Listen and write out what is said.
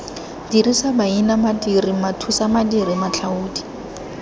dirisa maina madiri mathusamadiri matlhaodi